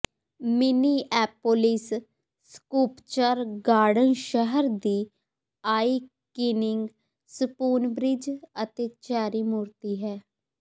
Minneapolis sculpture garden ਸ਼ਹਿਰ ਦੀ iconic Spoonbridge ਅਤੇ ਚੈਰੀ ਮੂਰਤੀ ਹੈ